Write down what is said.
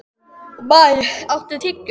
Maj, áttu tyggjó?